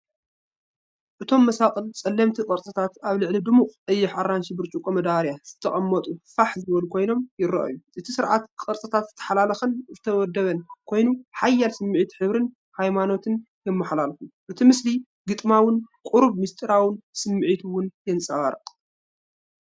እቶም መሳቕል ጸለምቲ ቅርጽታት ኣብ ልዕሊ ድሙቕ ቀይሕ-ኣራንሺ ብርጭቆ መዳበርያ ዝተቐመጡ ፋሕ ዝበሉ ኮይኖም ይረኣዩ። እቲ ስርዓት ቅርጽታት ዝተሓላለኸን ዝተወደበን ኮይኑ፡ ሓያል ስምዒት ሕብርን ሃይማኖትን የመሓላልፉ። እቲ ምስሊ ግጥማውን ቁሩብ ምስጢራውን ስምዒት ውን የንጸባርቕ።